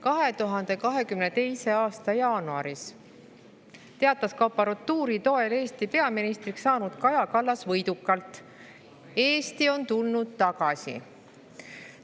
2022. aasta jaanuaris teatas kaporatuuri toel Eesti peaministriks saanud Kaja Kallas võidukalt: "Eesti on tulnud tagasi!